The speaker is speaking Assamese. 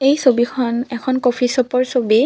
এই ছবিখন এখন কফি চ'পৰ ছবি।